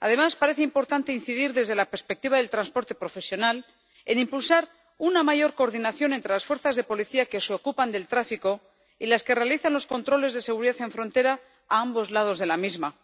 Además, parece importante incidir, desde la perspectiva del transporte profesional, en impulsar una mayor coordinación entre las fuerzas de policía que se ocupan del tráfico y las que realizan los controles de seguridad en frontera a ambos lados de la misma,